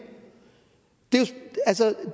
altså